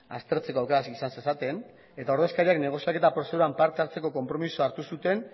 aztertzeko aukera izan zezaten eta ordezkariak negoziaketa prozeduran parte hartzeko konpromisoa hartu zuten